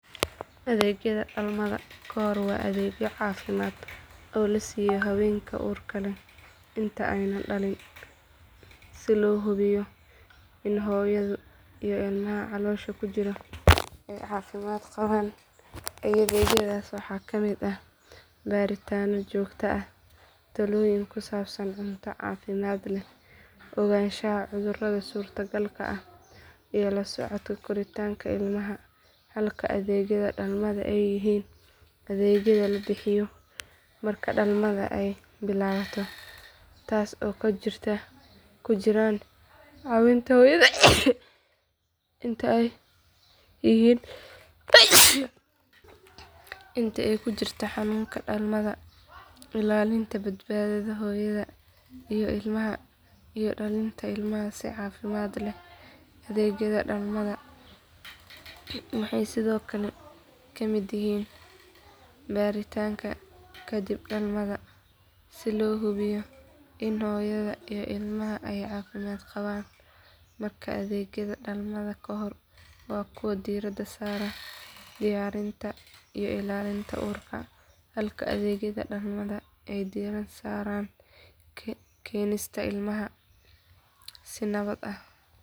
Adeegyada dhalmada ka hor waa adeegyo caafimaad oo la siiyo haweenka uurka leh inta aanay dhalin si loo hubiyo in hooyada iyo ilmaha caloosha ku jira ay caafimaad qabaan adeegyadaas waxaa ka mid ah baaritaanno joogto ah talooyin ku saabsan cunto caafimaad leh ogaanshaha cudurrada suurtagalka ah iyo la socodka koritaanka ilmaha halka adeegyada dhalmada ay yihiin adeegyada la bixiyo marka dhalmada ay bilaabato taas oo ay ku jiraan caawinta hooyada inta ay ku jirto xanuunka dhalmada ilaalinta badbaadada hooyada iyo ilmaha iyo dhalinta ilmaha si caafimaad leh adeegyada dhalmada waxay sidoo kale ka mid yihiin baaritaanka kadib dhalmada si loo hubiyo in hooyada iyo ilmaha ay caafimaad qabaan markaa adeegyada dhalmada ka hor waa kuwo diiradda saara diyaarinta iyo ilaalinta uurka halka adeegyada dhalmada ay diiradda saaraan keenista ilmaha si nabad ah.